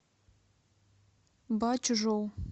бачжоу